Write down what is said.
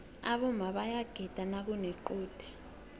aboma bayaguda nakunequde